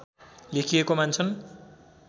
लेखिएको मान्छन्